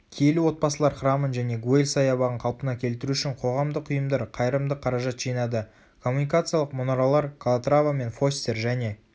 киелі отбасылар храмын және гуэль саябағын қалпына келтіру үшін қоғамдық ұйымдар қайырымдық қаражат жинады коммуникациялық мұнаралар калатрава мен фостер және